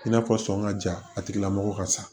I n'a fɔ sɔngɔ ka ja a tigilamɔgɔ ka sa